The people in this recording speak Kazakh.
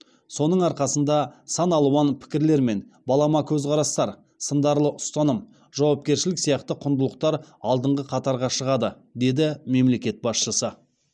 соның арқасында саналуан пікірлер мен балама көзқарастар сындарлы ұстаным жауапкершілік сияқты құндылықтар алдыңғы қатарға шығады деді мемлекет басшысы